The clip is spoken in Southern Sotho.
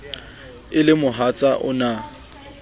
e le mohatsa o na